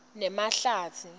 nemahlatsi